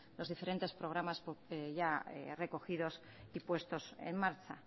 los diferentes programas ya recogidos y puestos en marcha